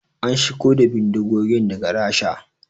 An shigo da bindigogin daga Rasha